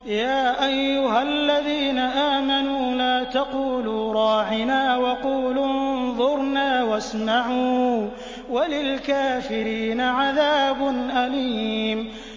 يَا أَيُّهَا الَّذِينَ آمَنُوا لَا تَقُولُوا رَاعِنَا وَقُولُوا انظُرْنَا وَاسْمَعُوا ۗ وَلِلْكَافِرِينَ عَذَابٌ أَلِيمٌ